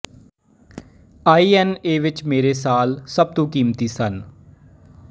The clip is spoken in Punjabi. ਆਈ ਐਨ ਏ ਵਿੱਚ ਮੇਰੇ ਸਾਲ ਸਭ ਤੋਂ ਕੀਮਤੀ ਸਨ